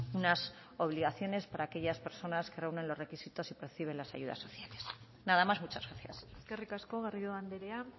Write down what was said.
unas obligaciones para aquellas personas que reúnen los requisitos y perciben las ayudas sociales nada más muchas gracias eskerrik asko garrido andrea